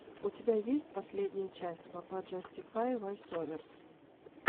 у тебя есть последняя часть пападжастифай войсоверс